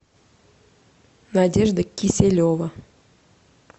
надежда киселева